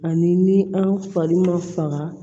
Ani ni an fari ma faga